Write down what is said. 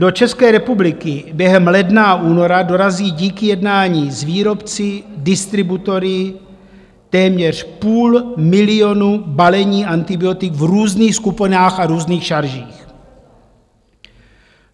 Do České republiky během ledna a února dorazí díky jednání s výrobci, distributory téměř půl milionu balení antibiotik v různých skupinách a různých šaržích.